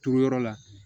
Turuyɔrɔ la